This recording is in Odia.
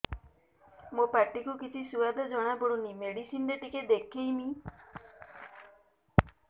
ମୋ ପାଟି କୁ କିଛି ସୁଆଦ ଜଣାପଡ଼ୁନି ମେଡିସିନ ରେ ଟିକେ ଦେଖେଇମି